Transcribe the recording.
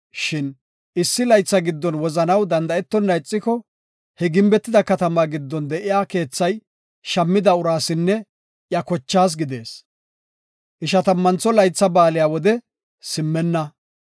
Shin issi laytha giddon wozanaw danda7etonna ixiko, he gimbetida katamaa giddon de7iya keethay shammida uraasinne iya kochaas gidees. Ishatammantho Laytha Ba7aale wode simmenna.